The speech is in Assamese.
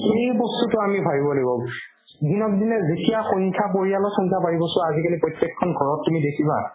সেই বস্তুতো আমি ভাবিব লাগিব দিনক দিনে দুখীয়াৰ সংখ্যা পৰিয়ালৰ সংখ্যা বাঢ়ি গৈছো আজিকালি প্ৰত্যেকখন ঘৰত তুমি দেখিবা